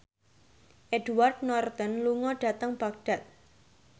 Edward Norton lunga dhateng Baghdad